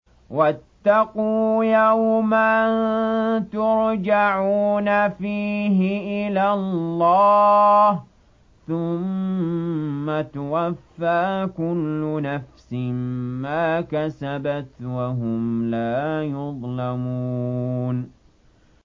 وَاتَّقُوا يَوْمًا تُرْجَعُونَ فِيهِ إِلَى اللَّهِ ۖ ثُمَّ تُوَفَّىٰ كُلُّ نَفْسٍ مَّا كَسَبَتْ وَهُمْ لَا يُظْلَمُونَ